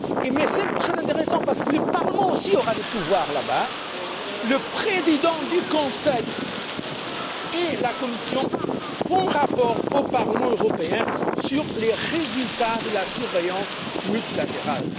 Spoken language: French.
État. Mais c'est très intéressant, parce que le Parlement aussi aura des pouvoirs dans ce contexte Le président du Conseil et la Commission font rapport au Parlement européen sur les résultats de la surveillance multilatérale.